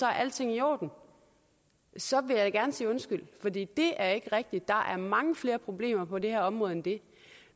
er alting i orden så vil jeg da gerne sige undskyld fordi det er ikke rigtigt der er mange flere problemer på det her område end det